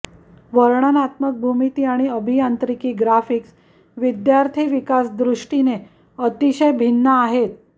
वर्णनात्मक भूमिती आणि अभियांत्रिकी ग्राफिक्स विद्यार्थी विकास दृष्टीने अतिशय भिन्न आहेत